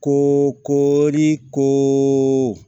Ko ko ni ko